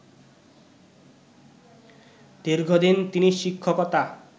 দীর্ঘদিন তিনি শিক্ষকতা